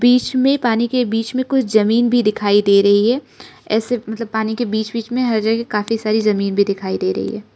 बीच में पानी के बीच में कुछ जमीन भी दिखाई दे रही है ऐसे मतलब पानी के बीच बीच में हर जगह काफी सारी जमीन भी दिखाई दे रही है।